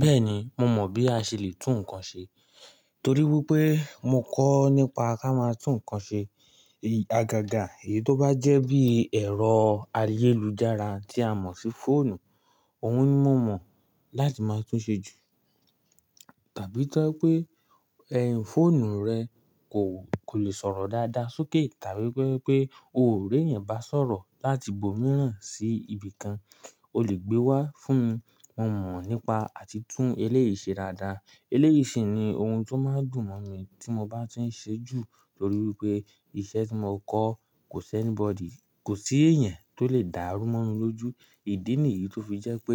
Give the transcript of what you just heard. Bẹ́ẹ̀ni, mo mọ̀ bí a ṣe lè tún nǹkan ṣe torí wípé mo kọ́ nípa ká máa tún nǹkan ṣe. Àgàgà èyí tó bá jẹ́ bí ẹ̀rọ ayélujára tí a mọ̀ sí fóònù, òun ni mo mọ̀ láti máa tún ṣe jù. Tàbí tó bá jẹ́ pé ẹẹ́hn fóònù rẹ kò lè sọ̀rọ̀ dáadáa sókè tàbí tó bá jẹ́ pé óò r'éèyàn bá sọ̀rọ̀ láti ibòmíràn sí ibìkan, o lè gbe wá fún mi, mo mọ̀ nípa àti tún eléyìí ṣe dáadáa. Eléyìí ṣì ni ohun tó máa ń dùn mọ́ mi tí mo bá ti ń ṣe é jù torí wípé iṣẹ́ tí mo kọ́ kò sí ẹ́ní bọdì, kò sí èèyàn tó lè dàá rú mọ́ mi lójú. Ìdí nìyí tó fi jẹ́ pé